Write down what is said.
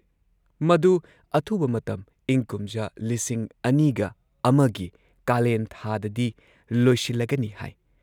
ꯃꯗꯨ ꯑꯊꯨꯕ ꯃꯇꯝ ꯏꯪꯀꯨꯝꯖꯥ ꯲꯰꯰꯱ꯒꯤ ꯀꯥꯂꯦꯟ ꯊꯥꯗꯗꯤ ꯂꯣꯏꯁꯤꯜꯂꯒꯅꯤ ꯍꯥꯏ꯫